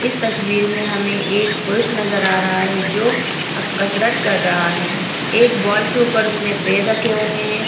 इस तस्वीर में हमें एक पुरुष नजर आ रहा है जो अप कसरत कर रहा है। एक बॉल के ऊपर उसने पैर रखे हुए हैं।